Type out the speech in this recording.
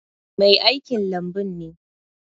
Mai aikin lambun ne.